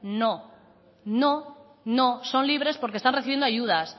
no no son libres porque están recibiendo ayudas